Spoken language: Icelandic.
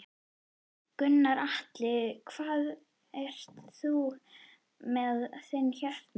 Gunnar Atli: Hvað ert þú með á þinni hérna?